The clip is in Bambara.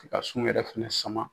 Ka sun yɛrɛ fana sama